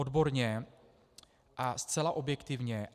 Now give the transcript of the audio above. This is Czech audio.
Odborně a zcela objektivně.